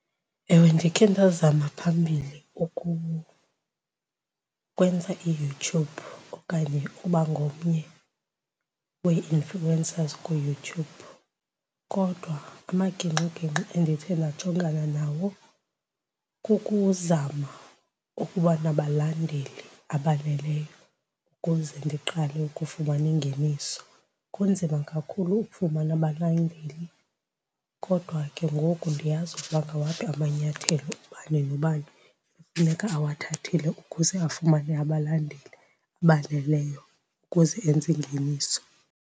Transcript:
Ewe, ndikhe ndazama phambili ukwenza iYouTube okanye ukuba ngomnye wee-influencers kuYouTube, kodwa amagingxigingxi endithe ndajongana nawo kukuzama ukuba nabalandeli abaneleyo ukuze ndiqale ukufumana ingeniso. Kunzima kakhulu ukufumana abalandeli kodwa ke ngoku ndiyazi ukuba ngawaphi amanyathelo ubani nobani ekufuneka awathathile ukuze afumane abalandeli abaneleyo ukuze enze ingeniso.